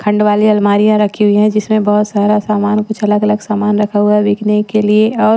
खंड वाली अलमारियां रखी हुई है जिसमें बहुत सारा सामान कुछ अलग-अलग सामान रखा हुआ है बिकने के लिए और--